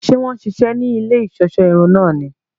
Ṣe wọn ṣiṣẹ ní ilé iṣọṣọ irun náà ní?